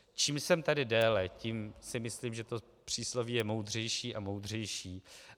Čím jsem tady déle, tím si myslím, že to přísloví je moudřejší a moudřejší.